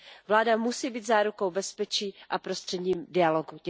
Vláda musí být zárukou bezpečí a prostředníkem dialogu.